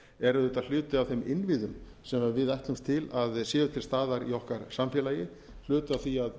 er auðvitað hluti af þeim innviðum sem við ætlumst til að séu til staðar í okkar samfélagi hluti af því að